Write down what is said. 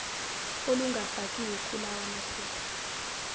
olungafakiwe kulawa maphepha